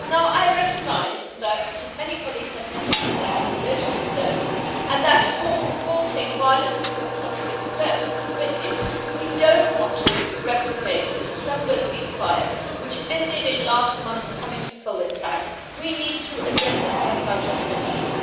I recognise that many colleagues have mentioned the de-escalation zones and that halting violence is a positive step, but if we do not want to replicate the December ceasefire, which ended in last month's chemical attack, we need to address the points I have just mentioned.